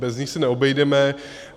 Bez nich se neobejdeme.